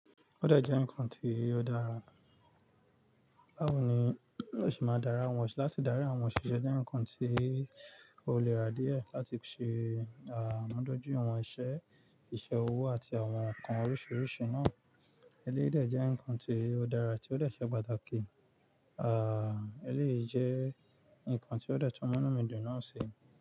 Ó dẹ̀ jẹ́ ǹkan tí ó dára. Báwo ni ó sì máa dára wọ́n sì láti dárí àwọn òṣìṣẹ́ jé ǹkan tí ó le rà díẹ̀ láti ṣe ànádójú àwọn iṣẹ́, ìṣe owó àti àwọn ǹkan oríṣiríṣi náà. Eléyè dẹ̀ jẹ́ ǹkan tí ó dára tí ó dẹ̀ ṣe pàtàkì. À, eléyè jẹ́ ǹkan tí ó dẹ̀ tún mọ̀númidùn náà ṣe.